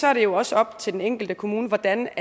er det jo også op til den enkelte kommune hvordan